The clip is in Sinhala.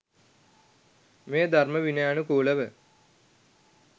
මෙය ධර්ම විනයානුකූලව